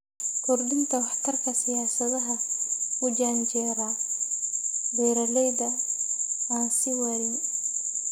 Kordhinta waxtarka siyaasadaha u janjeera beeralayda aan sii waarin.